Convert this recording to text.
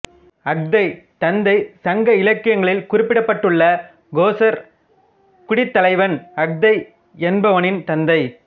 அஃதை தந்தை சங்க இலக்கியங்களில் குறிப்பிடப்பட்டுள்ள கோசர் குடித் தலைவன் அஃதை என்பவனின் தந்தை